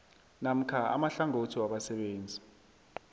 namkha amahlangothi wabasebenzi